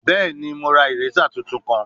Bẹẹni, Mo ra eraser tuntun kan